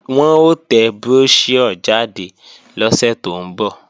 Wọn ó tẹ bróṣíọ̀ jáde lọ́sẹ̀ tó ń bọ̀